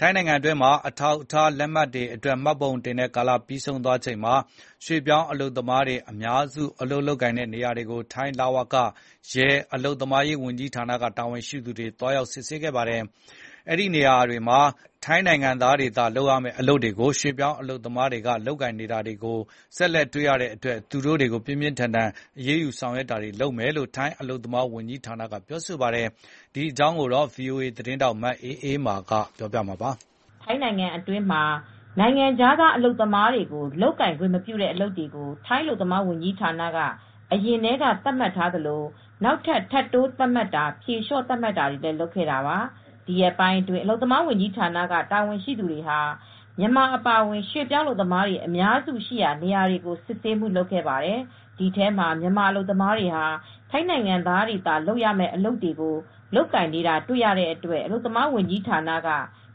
ထိုင်းနိုင်ငံတွင်းမှာ အထောက်အထားလက်မှတ်တွေအတွက် မှတ်ပုံတင်တဲ့ကာလပြီးဆုံးသွားချိန်မှာ ရွှေပြောင်းအအလုပ်သမားတွေ အများစု အလုပ်ကိုင်နေရာနေရာတွေကို ထိုင်းလဝက၊ ရဲ၊ အလုပ်သမားရေးဝန်ကြီးဌာနက တာဝန်ရှိသူတွေ သွားရောက်စစ်ဆေးခဲ့ပါတယ်။ အဲဒီနေရာတွေမှာ ထိုင်းနိုင်ငံသားတွေသာ လုပ်ရမယ့်အလုပ်တွေကို ရွှေပြောင်းအလုပ်သမားတွေက လုပ်ကိုင်နေတာတွေကို ဆက်လက်တွေ့ရတဲ့အတွက် သူတို့တွေကို ပြင်းပြင်းထန်ထန် အရေးယူဆောင်ရွက်တာတွေလုပ်မယ်လို့ထိုင်းအလုပ်သမားဝန်ကြီးဌာနက ပြောပါတယ်။ ဒီအကြောင်း ဗွီအိုအေသတင်းထောက် မအးအေးမာက သတင်းပေးပို့ထားပါတယ်။ ထိုင်းနိုင်ငံတွင်းမှာ နိုင်ငံခြားသာအလုပ်သမားတွေကို လုပ်ကိုင်ခွင့်မပြုတဲ့အလုပ်တွေ ထိုင်းအလုပ်သမားဝန်ကြီးဌာနက အရင်ကတည်းကသတ်မှတ်ထားသလို နောက်ထပ်ထပ်တိုးသတ်မှတ်တာ ဖြေလျှော့သတ်မှတ်ပေးတာတွေကို လုပ်ခဲ့တာပါ ။ ဒီရက်ပိုင်းအတွင်း အလုပ်သမားဝန်ကြီးဌာနက တာဝန်ရှိသူတွေဟာ မြန်မာအပါအဝင်ရွှေ့ပြောင်းအလုပ်သမားတွေအများစု ရှိတဲ့နေရာတွေကို စစ်ဆေးမှုလုပ်ခဲ့ပါတယ်။ ဒီထဲမှာ မြန်မာအလုပ်သမားတွေဟာ ထိုင်းနိုင်ငံသားတွေသာလုပ်ရမယ့်အလုပ်တွေကို လုပ်ကိုင်နေတာတွေ တွေ့ရတဲ့အတွက် အလုပ်သမားဝန်ကြီးဌာနက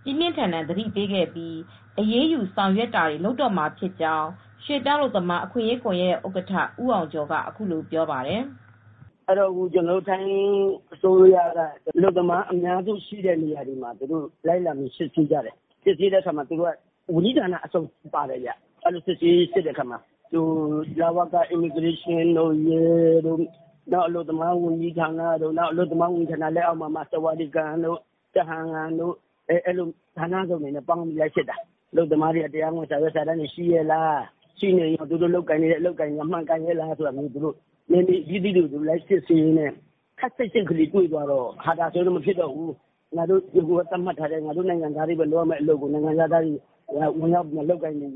ပြင်းပြင်းထန်ထန်သတိပေးခဲ့ပြီးအရေးယူဆောင်ရွက်တာတွေ လုပ်တော့မှာဖြစ်ကြောင်းရွှေ့ပြောင်းအလုပ်သမားအခွင့်ရေးကွန်ယက်ရဲ့ဥက္ကဋ္ဌ ဦးအောင်ကျော်ကအခုလိုပြောပါတယ်။ "ထိုင်းအစိုးရက အလုပ်သမားအများစုရှိတဲ့နေရာတွေမှာလိုက်လံစစ်ဆေးကြတယ်။ ဝင်ရောက်စစ်ဆေးတဲ့အခါမှာဝန်ကြီးဌာနအစုံပါတယ် ။လဝက ရဲတွေ အလုပ်သမားဝန်ကြီးဌာနအပြင် အလုပ်သမားဝန်ကြီးဌာနလက်အောက်က ဆာဝါဒီကန်တို့ကျဟမ်ငမ်ရုံးတို့က လူတွေပါပါတယ်။ ဌာနပေါင်းစုံကလိုက်စစ်တာ၊ အဲဒီမှာအလုပ်သမားတွေက တရားဝင်အထောက်အထားတွေကောရှိရဲ့လား ပြီးတော့ ရှိရင်ကော အလုပ်အကိုင်တွေကကောမှန်ကန်ရဲ့လားဆိုပြီး နယ်မြေတွေကိုလိုက်စစ်ဆေးတဲ့အခါမှာ အခုက ခပ်စိတ်စိတ်လေးတွေတွေ့ရတဲ့အတွက် မဖြစ်တော့ဘူးဆိုပြီး သတ်မှတ်ထားတဲ့ ထိုင်းတွေလုပ်ရမယ့်အလုပ်ကိုနိုင်ငံခြားသားတွေက လုပ်နေ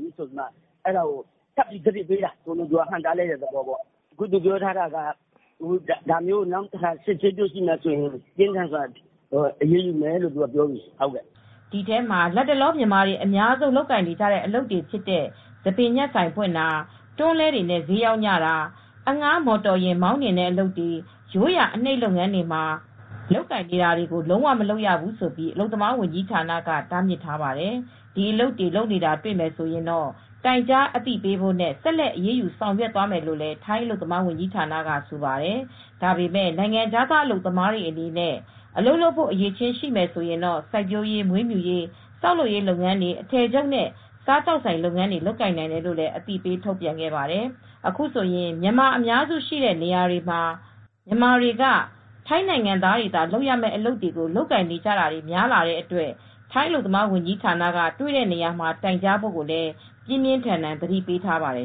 ပြီးဆိုပြီး အဲဒါကိုထပ်ပြီးသတိပေးတာ ဟန့်တားတဲ့သဘောပေါ့။ ဒါမျိုးနောက်ထပ်တွေ့လာမယ်ဆိုရင် ပြင်းထန်စွာအရေးယူမယ်ဆိုပြီး သူကပြောလာပြီ။" ဒီထဲမှာတော့လတ်တလောမြန်မာတွေအများဆုံးလုပ်ကိုင်နေတဲ့အလုပ်တွေဖြစ်တဲ့ ဆံပင်ညှပ်ဆိုင်ဖွင့်တာ တွန်းလှည်းတွေနဲ့ဈေးရောင်းကြတာ အဌားမော်တော်ယဉ်မောင်းနှင်းတဲ့အလုပ်တွေ ရိုးရာအနှိပ်လုပ်ငန်းတွေကို လုံးဝမလုပ်ရဘူးလို့အလုပ်သမားဝန်ကြီးဌာနက တားမြစ်ခဲ့ပါတယ်။ ဒီအလုပ်တွေ လုပ်နေတာတွေ့ရင် တိုင်ကြားအသိပေးဖို့နဲ့ ဆက်လက်အရေးယူ ဆောင်ရွက်မယ်လို့လည်းထိုင်းအလုပ်သမားဝန်ကြီးဌာနကဆိုပါတယ်။ ဒါပေမယ့် နိုင်ငံခြားသားအလုပ်သမားအတွေအနေနဲ့အလုပ်လုပ်ဖို့အရည်အချင်းရှိမယ်ဆိုရင်တော့ စိုက်ပျိုးရေးမွေးမြူရေး ဆောက်လုပ်ရေးလုပ်ငန်းတွေ အထည်ချုပ် နဲ့စားသောက်ဆိုင်လုပ်ငန်းတွေလုပ်ကိုင်နိုင်တယ်လို့လည်းအသိပေးထုတ်ပြန်ခဲ့ပါတယ်။ အခုဆိုရင် မြန်မာအများစုရှိတဲ့နေရာတွေဟာ မြန်မာတွေက ထိုင်းနိုင်ငံသားတွေသာလုပ်ရတဲ့အလုပ်တွေကို လုပ်ကိုင်နေကြတာတွေများလာတဲ့အတွက် ထိုင်းအလုပ်သမားဝန်ကြီးဌာနက တွေ့တဲ့နေရာမှာတိုင်ကြားဖို့ကိုလည်း ပြင်းပြင်းထန်ထန် သတိပေးထားပါတယ်